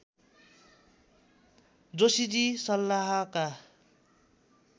Joshiji सल्लाहका